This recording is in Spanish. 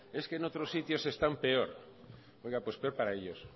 decía que es que en otros sitios están peor oiga pues peor para ellos